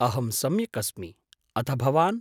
अहं सम्यक् अस्मि अथ भवान्?